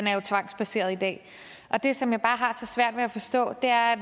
er jo tvangsbaseret i dag det som jeg bare har så svært ved forstå er at